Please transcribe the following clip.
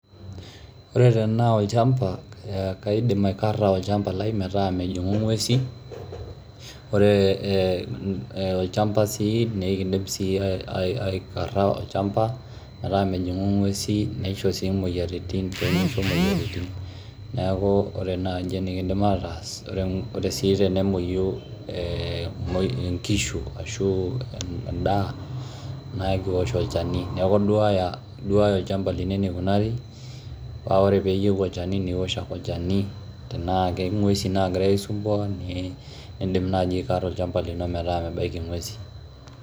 Ore tana olchamba kaidim aikarra olchamba lai mataa mejing'u ing'uesi, ore olchamba sii nikindim sii aikarra olchamba mataa mejing'u ing'uesi neisho sii imoyiarritin, naaku ore enaaji nikindim ataas, kore sii tenemoiyu inkishu ashuu indaa naa ikiosh olchani neaku iduaaya olchamba lino neikunari paa ore peeyeu olcheni niosh olchani tenaa ake inguesi naagira aisumbuan niindim nai aikarra olchamba lino metaa mebaki ing'uesi.